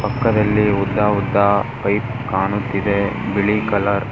ಪಕ್ಕದಲ್ಲಿ ಉದ್ದಉದ್ದ ಪೈಪ್ ಕಾಣುತ್ತಿದೆ ಬಿಳಿ ಕಲರ್ .